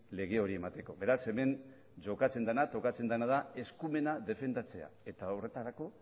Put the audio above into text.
lege hori emateko beraz hemen jokatzen dena tokatzen dena da eskumena defendatzea eta horretarako